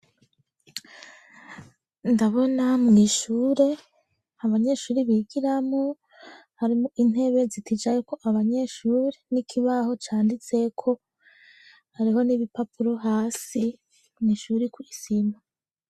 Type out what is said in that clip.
Ndabona mw'ishure abanyeshuri bigiramwo harimwo intebe ziticayeko abanyeshuri n'ikibaho canditseko ,hariho n'ibipapuro hasi mw'ishuri kw'isima.